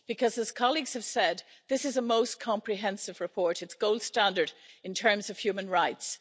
Because as colleagues have said, this is a most comprehensive report, it's gold standard in terms of human rights.